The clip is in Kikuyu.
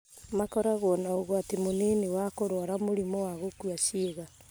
Makoragwo na ũgwati mũnini wa kũrũara mũrimũ wa gũkua ciĩga.